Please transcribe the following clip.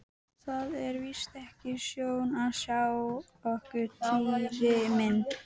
Það er víst ekki sjón að sjá okkur Týri minn